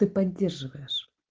ты поддерживаешь